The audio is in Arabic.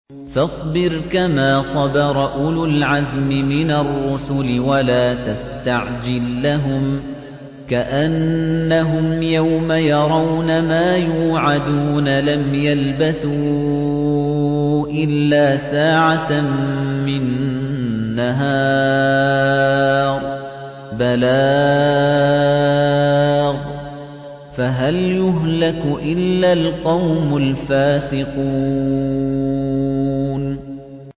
فَاصْبِرْ كَمَا صَبَرَ أُولُو الْعَزْمِ مِنَ الرُّسُلِ وَلَا تَسْتَعْجِل لَّهُمْ ۚ كَأَنَّهُمْ يَوْمَ يَرَوْنَ مَا يُوعَدُونَ لَمْ يَلْبَثُوا إِلَّا سَاعَةً مِّن نَّهَارٍ ۚ بَلَاغٌ ۚ فَهَلْ يُهْلَكُ إِلَّا الْقَوْمُ الْفَاسِقُونَ